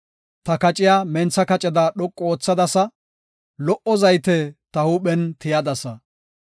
Ta kaciya mentha kaceda dhoqu oothadasa; lo77o zayte ta huuphen tiyadasa.